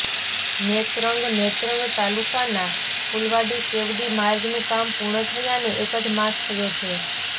નેત્રંગ ઃ નેત્રંગ તાલુકાના ફૂલવાડી કેવડી માર્ગનુ કામ પૂર્ણ થયાને એક જ માસ થયો છે